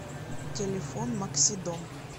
телефон максидом